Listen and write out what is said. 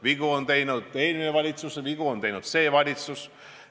Vigu tegi eelmine valitsus, vigu on teinud see valitsus.